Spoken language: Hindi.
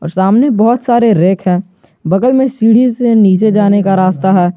सामने बहुत सारे रैक हैं बगल में सीढ़ी से नीचे जाने का रास्ता है।